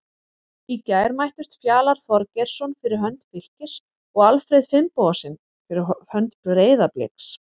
Í gær mættust Fjalar Þorgeirsson fyrir hönd Fylkis og Alfreð Finnbogason fyrir hönd Breiðabliks.